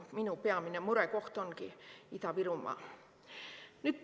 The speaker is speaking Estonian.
Minu peamine murekoht ongi Ida-Virumaa.